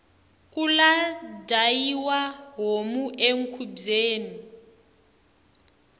kula dyayiwa homu ekhubyeni